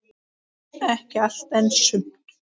Ekki allt, en sumt.